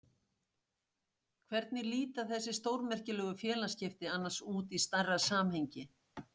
Hvernig líta þessi stórmerkilegu félagsskipti annars út í stærra samhengi?